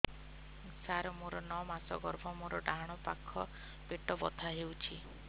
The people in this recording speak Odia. ସାର ମୋର ନଅ ମାସ ଗର୍ଭ ମୋର ଡାହାଣ ପାଖ ପେଟ ବଥା ହେଉଛି